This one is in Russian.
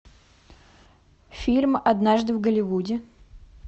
фильм однажды в голливуде